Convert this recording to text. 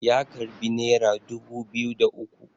ya karbi naira dubu biyu da uku